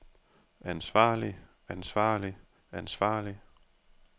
ansvarlig ansvarlig ansvarlig